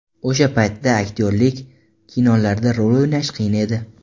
O‘sha paytda aktyorlik, kinolarda rol o‘ynash qiyin edi.